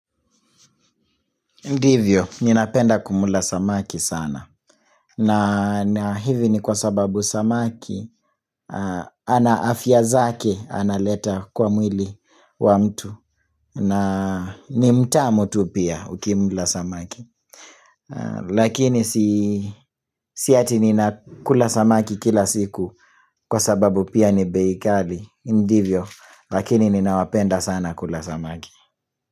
Ndivyo, ninapenda kumla samaki sana na hivi ni kwa sababu samaki ana afya zake, analeta kwa mwili wa mtu na nimtamu tu pia ukimla samaki Lakini si ati ninakula samaki kila siku Kwa sababu pia ni bei kali Indivyo, lakini ninawapenda sana kula samaki.